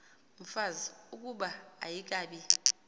mfazi ukuba ayikabi